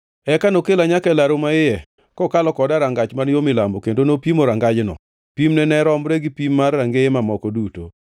Eka nokela nyaka e laru maiye, kokalo koda e rangach man yo milambo, kendo nopimo rangajno. Pimne ne romre gi pim mar rangeye mamoko duto.